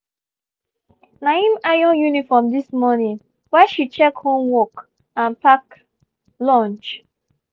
na him iron uniform this morning while she check homework and pack lunch